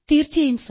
തീർച്ചയായും